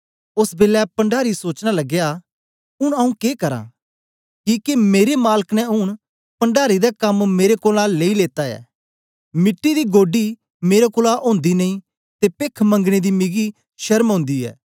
ओस बेलै पण्डारी सोचना लगया ऊन आऊँ के करा किके मेरे माल्क ने ऊन पण्डारी दा कम्म मेरे कोलां लेई लेत्ता ऐ मिट्टी दी गोड्डी मेरे कोलां ओंदी नेई ते पेख मंगने दी मिगी शरम ओंदी ऐ